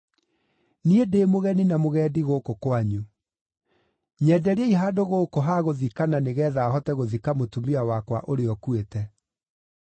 “Niĩ ndĩ mũgeni na mũgendi gũkũ kwanyu. Nyenderiai handũ gũkũ ha gũthikana nĩgeetha hote gũthika mũtumia wakwa ũrĩa ũkuĩte.”